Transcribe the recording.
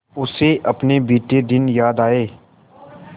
उसे अपने बीते दिन याद आए